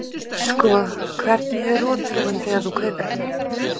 Sko hvernig er rotþróin þegar þú kaupir hana?